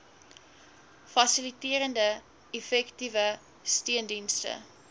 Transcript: fasiliterende effektiewe steundienste